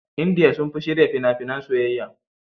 Indiya sun fi shirya fina-finan soyayya.